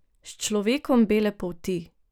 S človekom bele polti.